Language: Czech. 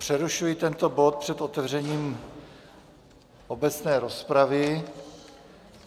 Přerušuji tento bod před otevřením obecné rozpravy.